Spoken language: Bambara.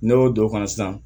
Ne y'o don o kan sisan